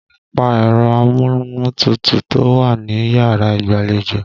Pa ẹ̀rọ amúnútutù tó wà níyàrá ìgbàlejò!